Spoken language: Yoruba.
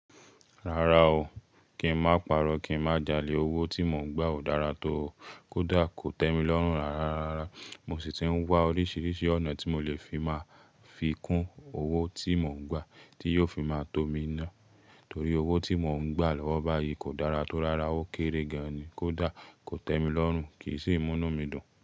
Rárá o, kí n má paro, kí n má jalè. Owó tí mò ń gbà ò dára tó o. Kódà kò tẹ́ mi lọ́rùn rárarará. Mo sì ti ń wá oríṣiríṣi ọ̀nà tí mo lè fi máa fi kún owó tí mò ń gbà tí yóò fi máa tó mi ná. Torí owó tí mò ń gbà lọ́wọ́ báyìí kò dára tó. Rárá, ó kéré gan-an ni. Kódà kò tẹ́ mi lọ́rùn, kì í sì mú nu mí dun.